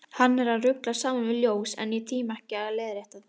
Hann er að rugla saman við ljós, en ég tími ekki að leiðrétta það.